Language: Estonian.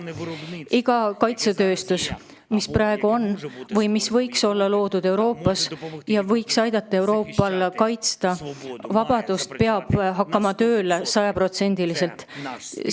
Iga kaitsetööstuse ettevõte, mis Euroopas juba töötab või mille võiks siia rajada, et ta aitaks Euroopal vabadust kaitsta, peab hakkama tööle sajaprotsendiliselt.